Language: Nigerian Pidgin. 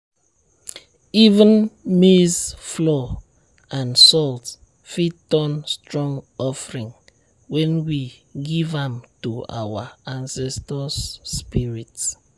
even maize flour and salt fit turn strong offering when we give am to our ancestors spirits.